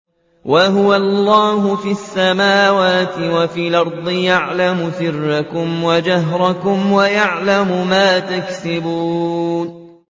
وَهُوَ اللَّهُ فِي السَّمَاوَاتِ وَفِي الْأَرْضِ ۖ يَعْلَمُ سِرَّكُمْ وَجَهْرَكُمْ وَيَعْلَمُ مَا تَكْسِبُونَ